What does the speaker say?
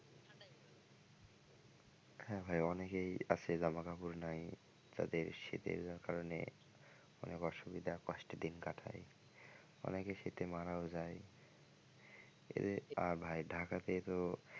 হ্যাঁ ভাই অনেকেই আছে জামা কাপড় নাই তাদের শীতের কারণে অনেক অসুবিধা কষ্টে দিন কাটায় অনেকে শীতে মারাও যায় এদের আর ভাই ঢাকাতে তো,